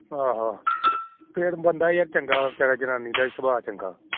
ਹਾ ਹਾ ਬੰਦਾ ਯਰ ਚੰਗਾ ਜਨਾਨੀ ਦਾ ਸੁਭਾਅ ਵੀ ਚੰਗਾ